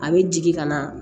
A bɛ jigin ka na